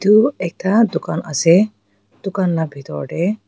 itu ekta dukan ase dukan la bitor tey--